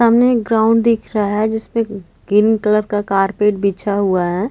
सामने एक ग्राउंड दिखा रहा है जिसपे ग्रीन कलर का कारपेट बिछा हुआ है।